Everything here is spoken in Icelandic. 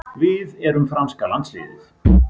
Við erum franska landsliðið.